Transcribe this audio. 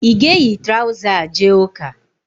Ị ga-eyi traụza a jee ụ́kà?